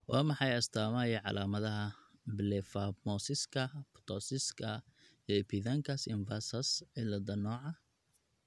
Waa maxay astamaha iyo calaamadaha Blepharophimosiska, ptosiska, iyo epicanthus inversus cilaada nooca labad?